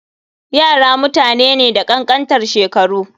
Yara mutane ne da kankantan shekaru.